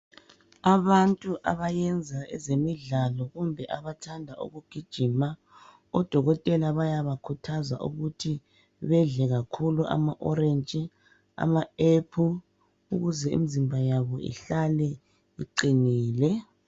Abantu abayenza ezemidlalo kumbe abathanda ukugiima odokotela bayabakhuthaza ukuthi bedle kakhulu ama"orange",ama aphula ukuze imizimba yabo ihlale iqinile.